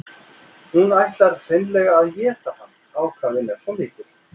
Hún ætlar hreinlega að éta hann, ákafinn er svo mikill.